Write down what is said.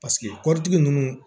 Paseke kɔtigi ninnu